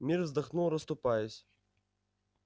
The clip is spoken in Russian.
мир вздохнул расступаясь